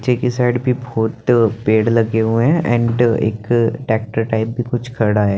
ठीक इस साइड भी बहोत पेड़ लगे हुए है एंड एक ट्रैक्टर टाइप कुछ खड़ा है ।